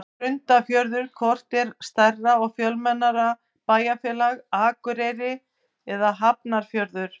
Grundarfjörður Hvort er stærra og fjölmennara bæjarfélag, Akureyri eða Hafnarfjörður?